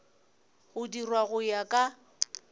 go dirwa go ya ka